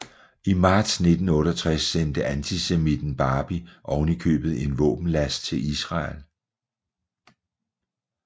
I marts 1968 sendte antisemitten Barbie ovenikøbet en våbenlast til Israel